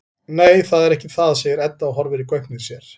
Nei, það er ekki það, segir Edda og horfir í gaupnir sér.